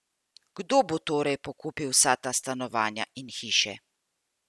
Kdo bo torej pokupil vsa ta stanovanja in hiše?